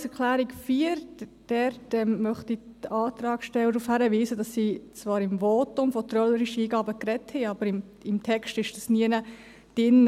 Zur Planungserklärung 4: Ich möchte die Antragssteller darauf hinweisen, dass sie im Votum zwar von trölerischen Eingaben gesprochen haben, diese aber nirgends im Text drin sind.